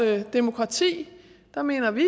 demokrati så mener vi